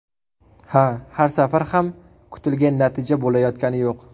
Ha, har safar ham kutilgan natija bo‘layotgani yo‘q.